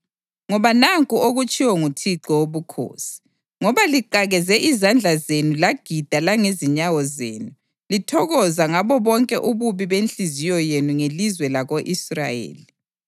Ngoba nanku okutshiwo nguThixo Wobukhosi: Ngoba liqakeze izandla zenu lagida langezinyawo zenu, lithokoza ngabo bonke ububi benhliziyo yenu ngelizwe lako-Israyeli,